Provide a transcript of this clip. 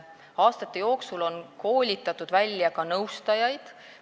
Aastate jooksul on koolitatud välja ka nõustajaid.